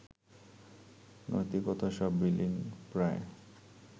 নৈতিকতা সব বিলীন-প্রায়